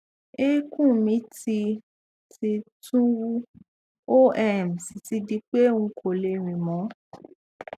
eékún mi ti ti tún wú ó um sì ti di pé n kò lè rín mọ